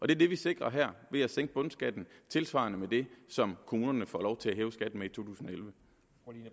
det vi sikrer her ved at sænke bundskatten tilsvarende med det som kommunerne får lov til at hæve skatten med i totusinde